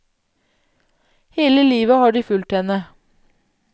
Hele livet har de fulgt henne.